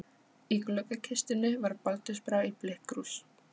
Í gluggakistunni var baldursbrá í blikkkrús.